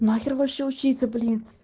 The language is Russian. нахер вообще учиться блин